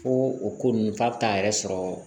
Ko o ko ninnu f'a bi t'a yɛrɛ sɔrɔ